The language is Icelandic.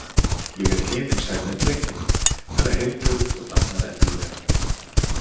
Ég er himinsæl með drenginn, hann er heilbrigður og dafnar eðlilega.